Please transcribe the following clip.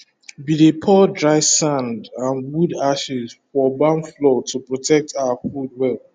we dey pour dry sand and wood ashes for barn floor to protect our food well